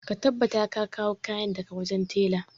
Ka tabbatar ka kawo kayana daga wajen tela!